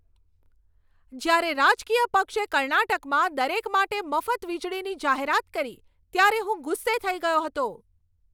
જ્યારે રાજકીય પક્ષે કર્ણાટકમાં દરેક માટે મફત વીજળીની જાહેરાત કરી, ત્યારે હું ગુસ્સે થઈ ગયો હતો.